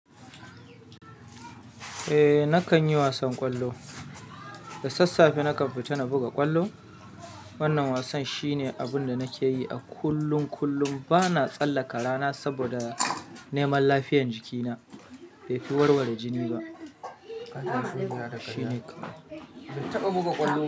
Eh nakan yi wasan ƙwallo, da sassafe na kamfita na buga ƙwallo, wannan wasan shine abun da nake yi a kullum kullum. Bana tsallaka rana, saboda neman lafiyan jikina. Bai fi warware jini ba. Bai taba buga ƙwallo ba.